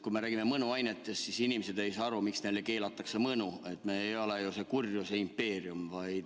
Kui me räägime mõnuainetest, siis inimesed ei saa aru, miks neile keelatakse mõnu, me ei ole ju kurjuse impeerium.